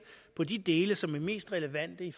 på de dele som er mest relevante i